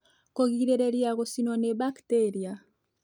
Kũgirĩrĩria gũcinwo nĩ bakteria